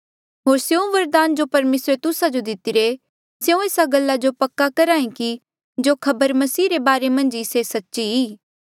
होर स्यों वरदान जो परमेसरे तुस्सा जो दितिरे स्यों एस्सा गल्ला जो पक्का करहे कि जो खबर मसीह रे बारे मन्झ ई से सच्ची